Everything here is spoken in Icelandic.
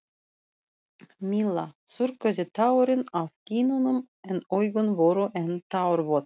Milla þurrkaði tárin af kinnunum en augun voru enn tárvot.